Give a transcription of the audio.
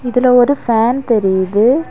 இதுல ஒரு ஃபேன் தெரியுது.